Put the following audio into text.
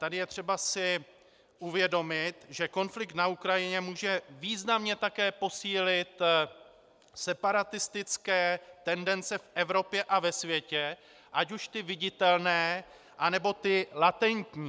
Tady je třeba si uvědomit, že konflikt na Ukrajině může významně také posílit separatistické tendence v Evropě a ve světě, ať už ty viditelné, anebo ty latentní.